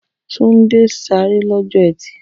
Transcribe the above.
Tunde sáré lọ́jọ́ Ẹtì.